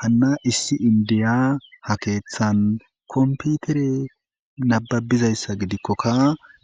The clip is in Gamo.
hanna issi indiya ha keeththan komputere nababizayssa gidikkokka